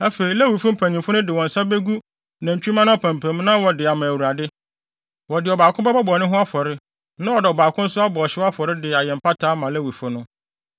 “Afei, Lewifo mpanyimfo no de wɔn nsa begu nantwimma no apampam na wɔde wɔn ama Awurade. Wɔde ɔbaako bɛbɔ bɔne ho afɔre na wɔde ɔbaako nso abɔ ɔhyew afɔre de ayɛ mpata ama Lewifo no.